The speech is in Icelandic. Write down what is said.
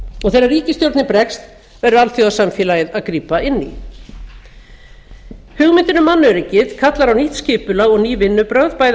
og þegar ríkisstjórnin bregst verður alþjóðasamfélagið að grípa inn í hugmyndin um mannöryggið kallar á nýtt skipulag og ný vinnubrögð bæði